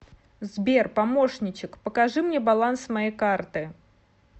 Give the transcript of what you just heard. сбер помощничек покажи мне баланс моей карты